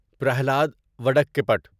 Pralhad وڑککیپٹ